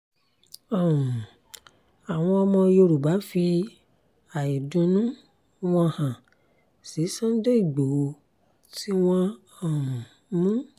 um àwọn ọmọ yoruba fi àìdùnnú wọn hàn sí sunday ìgbóhò tí wọ́n um mu